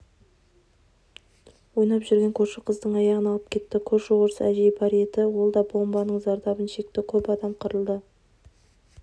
ойнап жүрген көрші қыздың аяғын алып кетті көрші орыс әжей бар еді ол да бомбаның зардабын шекті көп адам қырылды